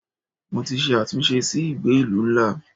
Mo ti ṣe àtúnṣe sí ìgbé ìlú ńlá.